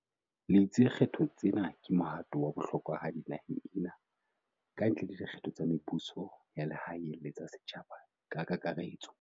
le itse di kgetho tsena ke mohato wa bohlokwahadi naheng ena, kantle le dikgetho tsa mebuso ya lehae le tsa setjhaba ka kaka retso.